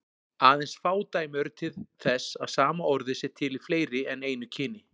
Aðeins fá dæmi eru þess að sama orðið sé til í fleiri en einu kyni.